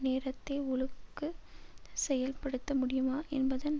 நேரத்தே ஒழுக்கு செய்யல்ப்படுத்தமுடியுமா என்பதன்